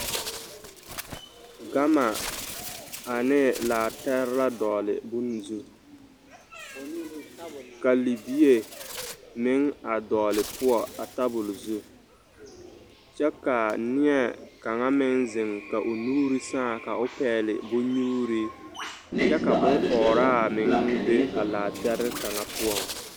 Gama ane laatɛre la dɔɔle bone zu ka libie meŋ a dɔɔle poɔ a tabuli zu kyɛ ka neɛ kaŋ meŋ zeŋ ka o nuuri sãã ka o pɛɡele bonnyuuri kyɛ ka bonɔɔraa meŋ be a laatɛre kaŋ poɔ.